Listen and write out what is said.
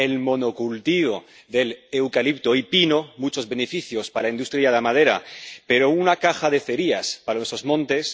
el monocultivo del eucalipto y el pino, muchos beneficios para la industria de la madera pero una caja de cerillas para nuestros montes